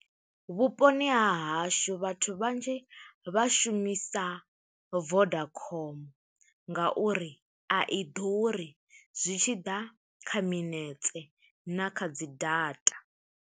Vhuponi ha hashu, vhathu vhanzhi vha shumisa Vodacom, ngauri a i ḓuri zwi tshi ḓa kha minetse, na kha dzi data.